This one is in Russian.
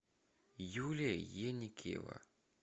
юлия еникеева